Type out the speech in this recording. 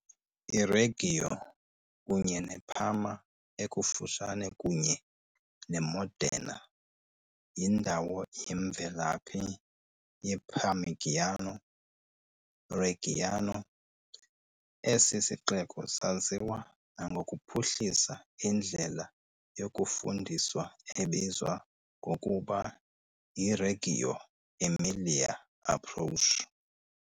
I-Reggio, kunye neParma ekufutshane kunye neModena, yindawo yemvelaphi yeParmigiano Reggiano, Esi sixeko saziwa nangokuphuhlisa indlela yokufundiswa ebizwa ngokuba yiReggio Emilia Approach.